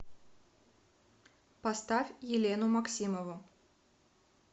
поставь елену максимову